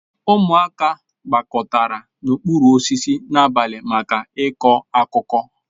Ụmụaka gbakọtara n'okpuru osisi n'abalị maka ịkọ akụkọ